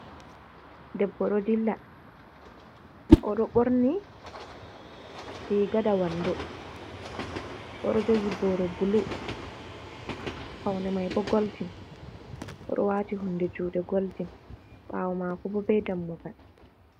Debbo ɗo dilla, oɗo ɓorni riga da wando, oɗo jogi booro bulu faune mai bo goldin, oɗo waati hunde juuɗe goldin, ɓaawo maako bo be dammugal.